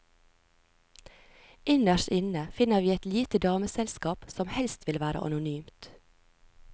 Innerst inne finner vi et lite dameselskap som helst vil være anonymt.